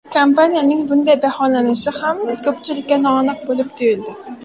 Kompaniyaning bunday baholanishi ham ko‘pchilikka noaniq bo‘lib tuyuldi.